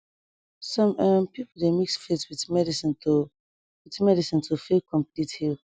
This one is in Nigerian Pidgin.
some um people dey mix faith with medicine to with medicine to feel complete heal